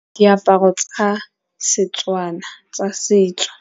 Diaparo tsa Setswana tsa setso.